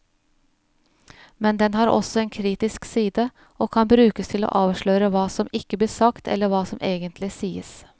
Men den har også en kritisk side, og kan brukes til å avsløre hva som ikke blir sagt eller hva som egentlig sies.